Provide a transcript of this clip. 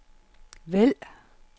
vælg